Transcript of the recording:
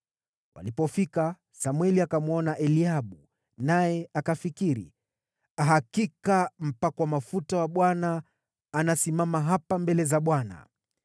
Walipofika, Samweli akamwona Eliabu, naye akafikiri, “Hakika mpakwa mafuta wa Bwana anasimama hapa mbele za Bwana .”